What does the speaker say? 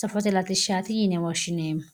safote latishshati yinne woshshineemmo.